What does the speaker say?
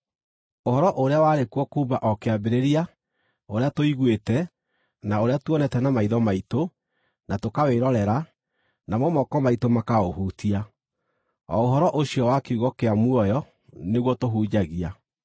Ũhoro ũrĩa warĩ kuo kuuma o kĩambĩrĩria, ũrĩa tũiguĩte, na ũrĩa tuonete na maitho maitũ, na tũkawĩrorera, namo moko maitũ makaũhutia, o ũhoro ũcio wa Kiugo kĩa muoyo, nĩguo tũhunjagia.